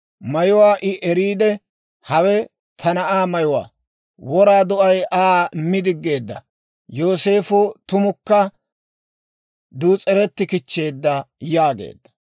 Mayuwaa I eriide, «Hawe ta na'aa mayuwaa! wora do'ay Aa mi diggeedda. Yooseefo tumukka dus's'ereti kichcheedda» yaageedda.